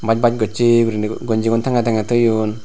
baas baas gossey guriney gonjigun tangey tangey toyon.